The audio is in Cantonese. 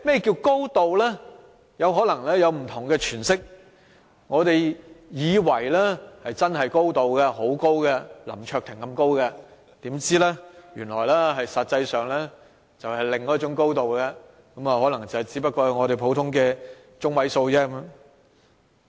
"高度"可能會有不同的詮釋，我們以為真的很高，像林卓廷議員般高，豈料實際上原來是另一種"高度"，只達到普通的中位數。